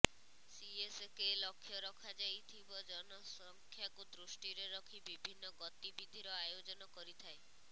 CSK ଲକ୍ଷ୍ୟ ରଖାଯାଇଥିବ ଜନସଂଖ୍ୟାକୁ ଦୃଷ୍ଟିରେ ରଖି ବିଭିନ୍ନ ଗତିବିଧିର ଆୟୋଜନ କରିଥାଏ